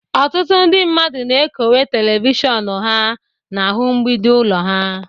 Ọtụtụ ndị mmadụ na-ekowe telivishọn ha n'ahụ mgbidi ụlọ ha